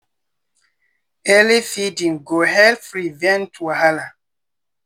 early feeding go help prevent wahala.